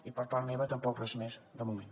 i per part meva tampoc res més de moment